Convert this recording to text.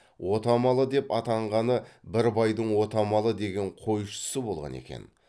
отамалы деп атанғаны бір байдың отамалы деген қойшысы болған екен